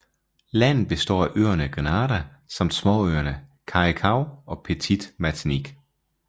Landet består af øerne Grenada samt småøerne Carriacou og Petite Martinique